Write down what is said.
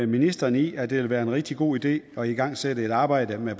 ministeren i at det vil være en rigtig god idé at igangsætte et arbejde med